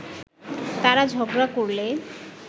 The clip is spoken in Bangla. তারা ঝগড়া করলে